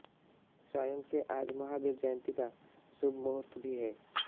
संयोग से आज महावीर जयंती का शुभ मुहूर्त भी है